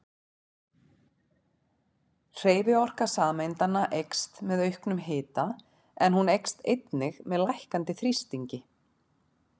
Hreyfiorka sameindanna eykst með auknum hita en hún eykst einnig með lækkandi þrýstingi.